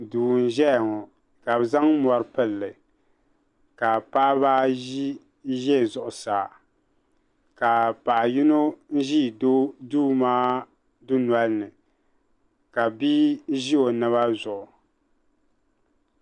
duu n ʒɛya ŋɔ ka bi zaŋ mori pilli ka paɣaba ayi ʒɛ zuɣusaa ka paɣa yino ʒi duu maa dundɔli ni ka bia ʒi o naba zuɣu